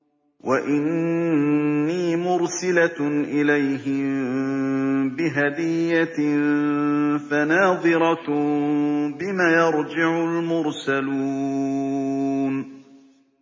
وَإِنِّي مُرْسِلَةٌ إِلَيْهِم بِهَدِيَّةٍ فَنَاظِرَةٌ بِمَ يَرْجِعُ الْمُرْسَلُونَ